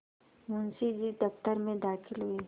मुंशी जी दफ्तर में दाखिल हुए